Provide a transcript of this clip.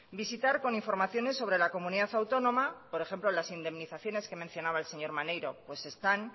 visitar con informaciones sobre la comunidad autónoma por ejemplo las indemnizaciones que mencionaba el señor maneiro pues están